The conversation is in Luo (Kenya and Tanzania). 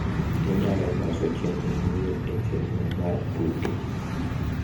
inyalo loso chenro manyien e chenro mar tuke